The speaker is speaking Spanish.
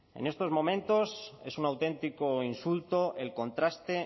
en estos momentos es un auténtico insulto el contraste